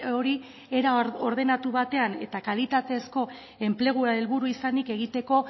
hori era ordenatu batean eta kalitatezko enplegua helburu izanik egiteko